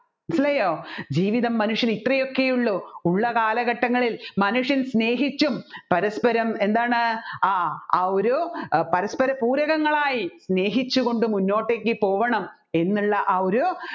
മനസ്സിലായ്യോ ജീവിതം മനുഷ്യന് ഇത്രയൊക്കെയുള്ളൂ ഉള്ളകാലഘട്ടങ്ങളിൽ മനുഷ്യൻ സ്നേഹിച്ചും പരസ്പരം എന്താണ് ആ ആ ഒരു പരസ്പര പൂരകങ്ങളായി സ്നേഹിച്ച് കൊണ്ട് മുന്നോട്ടേക്ക് പോകണം എന്നുള്ള ആ ഒരു